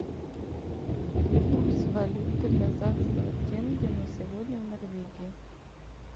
курс валюты казахского тенге на сегодня в норвегии